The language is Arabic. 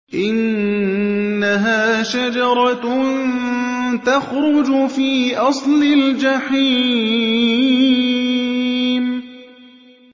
إِنَّهَا شَجَرَةٌ تَخْرُجُ فِي أَصْلِ الْجَحِيمِ